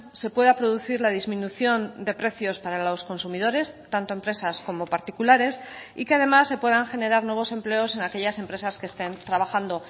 se pueda producir la disminución de precios para los consumidores tanto empresas como particulares y que además se puedan generar nuevos empleos en aquellas empresas que estén trabajando